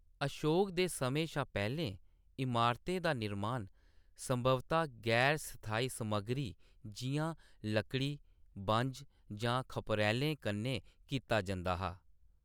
अशोक दे समें शा पैह्‌‌‌लें, इमारतें दा निर्माण संभवतः गैर-स्थाई समग्गरी, जिʼयां लकड़ी, बंझ, जां खप्परैलें कन्नै कीता जंदा हा।